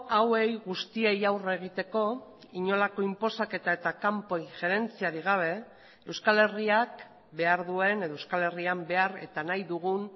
hauei guztiei aurre egiteko inolako inposaketa eta kanpo injerentziarik gabe euskal herriak behar duen edo euskal herrian behar eta nahi dugun